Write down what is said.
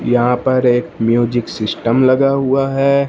यहां पर एक म्यूजिक सिस्टम लगा हुआ है।